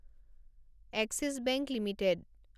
axis Bank limited